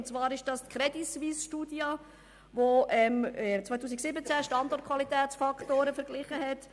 Dabei geht es um eine Studie der Crédit Suisse aus dem Jahr 2017, in welcher Standortfaktoren verglichen wurden.